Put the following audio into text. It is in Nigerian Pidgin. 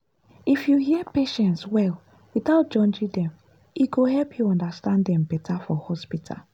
if you hear patients well without judging dem e go help you understand dem better for hospital.